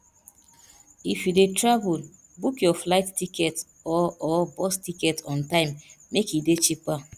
if you de travel book your flight ticket or or bus ticket on time make e de cheaper